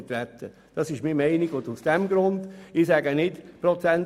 Ich sage nicht, man solle genau soundso viele Prozente einsparen.